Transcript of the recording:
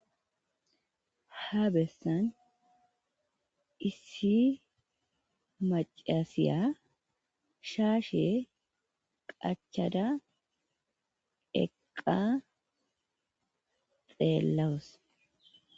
Ha bessan issi macasiya shaashe qachada eqqa xeellawus.